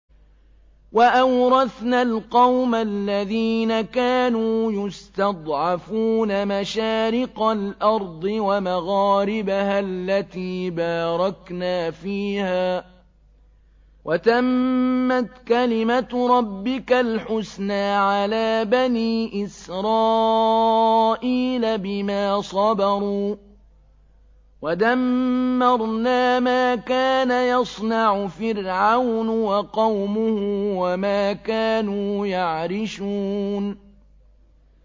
وَأَوْرَثْنَا الْقَوْمَ الَّذِينَ كَانُوا يُسْتَضْعَفُونَ مَشَارِقَ الْأَرْضِ وَمَغَارِبَهَا الَّتِي بَارَكْنَا فِيهَا ۖ وَتَمَّتْ كَلِمَتُ رَبِّكَ الْحُسْنَىٰ عَلَىٰ بَنِي إِسْرَائِيلَ بِمَا صَبَرُوا ۖ وَدَمَّرْنَا مَا كَانَ يَصْنَعُ فِرْعَوْنُ وَقَوْمُهُ وَمَا كَانُوا يَعْرِشُونَ